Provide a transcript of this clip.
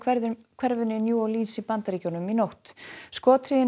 hverfinu í New Orleans í Bandaríkjunum í nótt